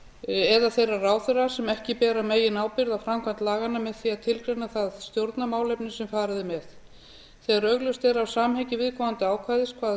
eða þeirra ráðherra sem ekki bera meginábyrgð á framkvæmd laganna með því að tilgreina það stjórnarmálefni sem farið er með þegar augljóst er af samhengi viðkomandi ákvæðis hvaða